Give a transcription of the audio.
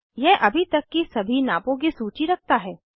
यह अभी तक की सभी नापों की सूची रखता है